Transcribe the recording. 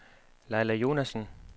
Laila Jonassen